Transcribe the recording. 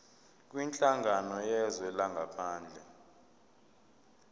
kwinhlangano yezwe langaphandle